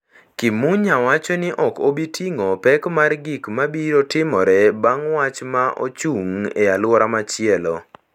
Kimunya wacho ni ok obi ting’o pek mar gik ma biro timore bang’ wach ma ochung’ e alwora machielo.